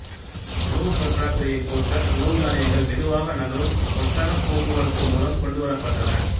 உணவுப் பற்றாக்குறையைப் போக்க உணவு தானியங்கள் மெதுவாக நகரும் ஒட்டகப் போக்குவரத்து மூலம் கொண்டுவரப்பட்டன